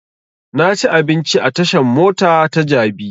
Na ci abinci a tashan mota ta jabi